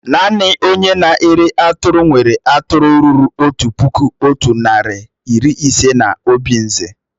Naanị ònye na-ere atụrụ nwéré atụrụ ruru otu puku, otu narị na iri ise na obinze